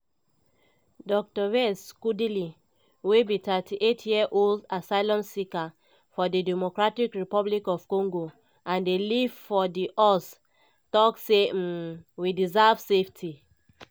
dr yves kaduli wey be 38-year-old asylum seeker from di democratic republic of congo and dey live for di us tok say um "we deserve safety.